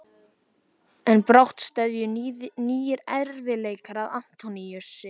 En brátt steðjuðu nýir erfiðleikar að Antóníusi.